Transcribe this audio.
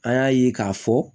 An y'a ye k'a fɔ